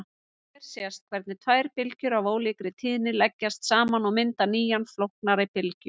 Hér sést hvernig tvær bylgjur af ólíkri tíðni leggjast saman og mynda nýja flóknari bylgju.